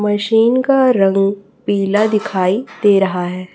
Machine का रंग पीला दिखाई दे रहा है।